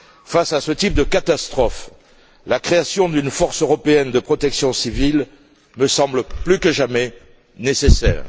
Face à ce type de catastrophe, la création d'une force européenne de protection civile me semble plus que jamais nécessaire.